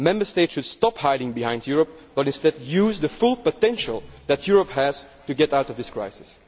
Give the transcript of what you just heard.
Member States should stop hiding behind Europe, but instead use the full potential that Europe has to get out of this crisis.